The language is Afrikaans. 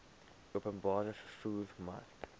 openbare vervoer mark